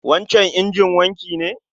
wancan injin wanki ne?